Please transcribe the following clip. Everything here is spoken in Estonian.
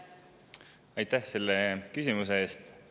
Aitäh selle küsimuse eest!